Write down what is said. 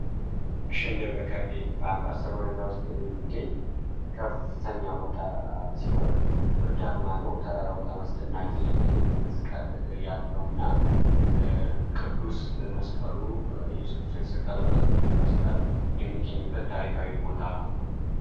ክሽ እንደብረከርቤ በአም03ለወደዳ ውስጥ የሚገኝ ከፍተኛ ቦታ ሲሆን ብርድማ ነው ተራራው በታ ማስደናቂ መስቀል ያለው እና ቅዱስ መስቀሉ ኢየሱቅዱስ አይተሰቀለበት ቅዱስ መስቃል የሚገኝበት ታሪካዊ ቦታ ነው።